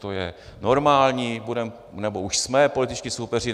To je normální, budeme, nebo už jsme političtí soupeři.